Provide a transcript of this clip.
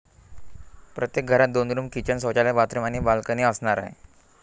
प्रत्येक घरात दोन रुम, किचन, शौचालय, बाथरुम आणि बालकनी असणार आहे.